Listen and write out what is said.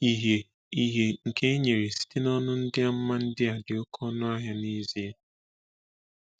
Ìhè Ìhè nke e nyere site na ndị amụma ndị a dị oké ọnụ ahịa n’ezie.